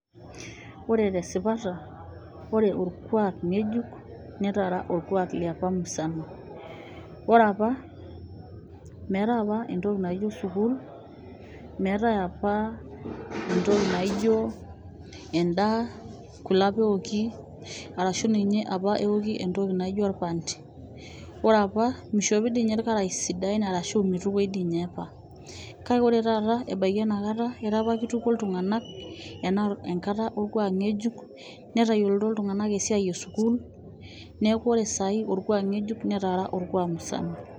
Ooore tesipata ore orkuak ng'ejuk netaara orkuak musana. Oore aapa meetae aapa entoki naijo sukuul, meetae aapa entoki naijo en'daa, kule aapa eoki arashu eoki entooki naijo orpante. Oore aapa meishopi toi ninye aapa irkarasha arashu meitukoi toi ninye aapa. Kake oore taata ebaiki ena kaata etaa keituko iltung'anak, ena kaata orkuak ng'ejuk, netayiolito iltung'anak esiai e sukuul niaku ore orkuak ng'ejuk netaara orkuak musana.